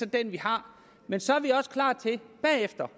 den vi har men så er vi også bagefter